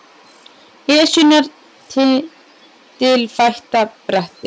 Esjunnar tindilfætta bretti